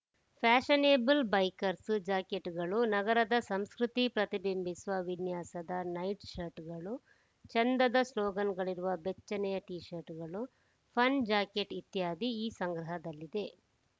fashionable bikers ಜಾಕೆಟ್‌ಗಳು ನಗರದ ಸಂಸ್ಕೃತಿ ಪ್ರತಿಬಿಂಬಿಸುವ ವಿನ್ಯಾಸದ ನೈಟ್ ಶರ್ಟ್ ಗಳು ಚೆಂದದ ಸ್ಲೋಗನ್‌ಗಳಿರುವ ಬೆಚ್ಚನೆಯ ಟೀಶರ್ಟ್‌ಗಳು ಫರ್‌ ಜಾಕೆಟ್‌ ಇತ್ಯಾದಿ ಈ ಸಂಗ್ರಹದಲ್ಲಿದೆ